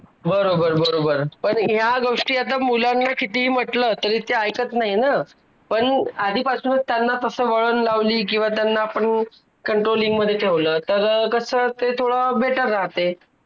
आणि ह्याचा परिणाम पर्यावरणाला सुद्धा होतो .आजूबाजूच्या परिसरामध्ये ही होतो.आजूबाजूच्या परिसरामध्ये कुत्रे ,मांजर यांसारखे पाळीव प्राणी फिरत असतात .त्यांच्या मुखामध्ये प plastic चुकून जात.